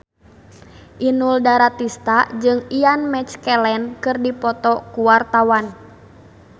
Inul Daratista jeung Ian McKellen keur dipoto ku wartawan